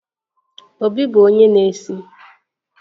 Obi bụ onye na-esi